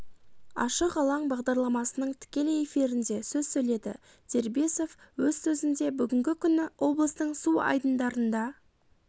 ашық алаң бағдарламасының тікелей эфирінде сөз сөйледі дербисов өз сөзінде бүгінгі күні облыстың су айдындарында